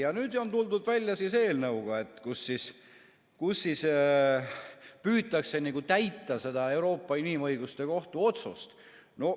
Ja nüüd on tuldud välja eelnõuga, millega püütakse täita seda Euroopa Inimõiguste Kohtu otsust.